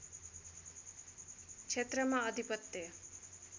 क्षेत्रमा अधिपत्य